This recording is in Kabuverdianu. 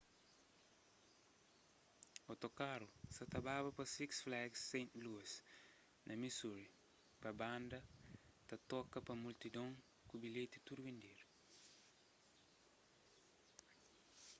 otokaru sa ta baba pa six flags st louis na missouri pa banda ba toka pa multidon ku bilheti tudu bendedu